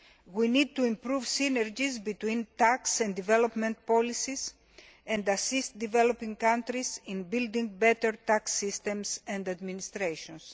We need to improve synergies between tax and development policies and assist developing countries in building better tax systems and administrations.